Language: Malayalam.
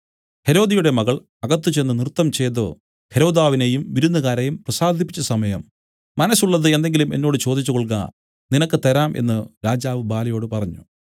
ഹെരോദ്യയുടെ മകൾ അകത്ത് ചെന്ന് നൃത്തംചെയ്തു ഹെരോദാവിനെയും വിരുന്നുകാരെയും പ്രസാദിപ്പിച്ച സമയം മനസ്സുള്ളത് എന്തെങ്കിലും എന്നോട് ചോദിച്ചു കൊൾക നിനക്ക് തരാം എന്നു രാജാവ് ബാലയോടു പറഞ്ഞു